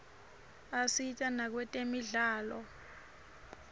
asita nakwetemidlalo